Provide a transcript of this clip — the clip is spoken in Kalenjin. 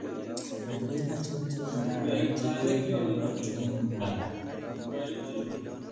Ngalek achon che kararan che kikoyay eng Uganda?